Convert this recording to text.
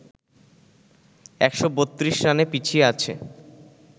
১৩২ রানে পিছিয়ে আছে